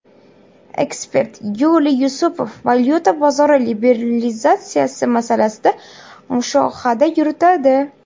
Ekspert Yuliy Yusupov Valyuta bozori liberalizatsiyasi masalasida mushohada yuritadi.